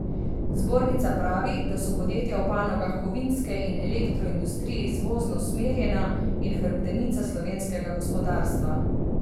Zbornica pravi, da so podjetja v panogah kovinske in elektroindustrije izvozno usmerjena in hrbtenica slovenskega gospodarstva.